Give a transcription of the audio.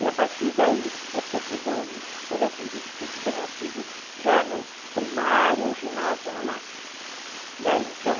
E a partir daí é sempre doze, mas eu acredito que isso tenha sido já no primário, ginásio no máximo.